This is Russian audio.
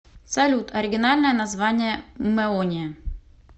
салют оригинальное название мэония